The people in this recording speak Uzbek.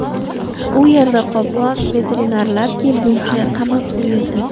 U yerda qoplon veterinarlar kelguncha qamab qo‘yildi.